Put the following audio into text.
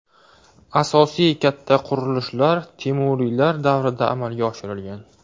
Asosiy katta qurilishlar temuriylar davrida amalga oshirilgan.